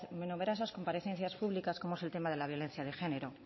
en sus numerosas comparecencias públicas como es el tema de la violencia de género